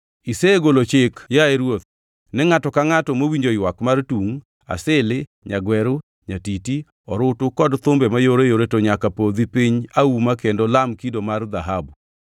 Isegolo chik, yaye ruoth, ni ngʼato ka ngʼato mowinjo ywak mar tungʼ, asili, nyagweru, nyatiti, orutu kod kit thumbe mayoreyore to nyaka podhi piny auma kendo lam kido mar dhahabu,